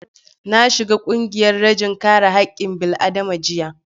Na shiga ƙungiyar rajin kare haƙƙin bil'adama jiya